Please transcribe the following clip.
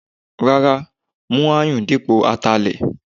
Rárá, mú Aáyù dípò Atalẹ.